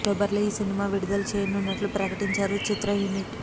October లో ఈ cinema విడుదల చేయనున్నట్లు ప్రకటించారు చిత్ర యూనిట్